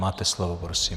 Máte slovo prosím.